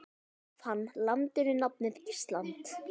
Gaf hann landinu nafnið Ísland.